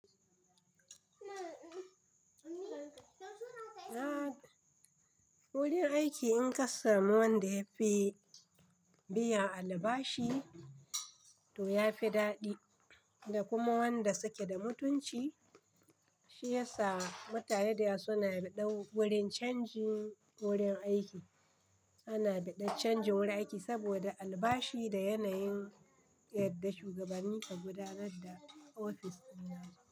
Wurin aiki in ka samu wanda yafi biyan albashi to ya fi daɗi, da kuma wanda suke da mutunci shi yasa mutane da yawa suna ɗa dan wurin canjin wurin aiki, ana ɗa dan canjin wurin aiki saboda albashi da yanayin yadda shugabanni ka gudanar da ofis.